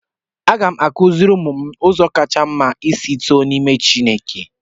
Aga m akụziri ụmụ m ụzọ kacha mma isi too na n'ime Chineke